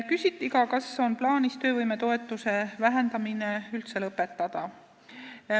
Küsiti ka, kas on plaanis töövõimetoetuse vähendamine üldse lõpetada.